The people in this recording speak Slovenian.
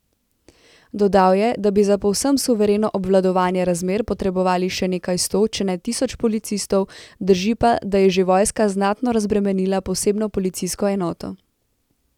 Dodal je, da bi za povsem suvereno obvladovanje razmer potrebovali še nekaj sto, če ne tisoč policistov, drži pa, da je že vojska znatno razbremenila posebno policijsko enoto.